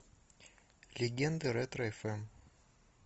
легенды ретро фм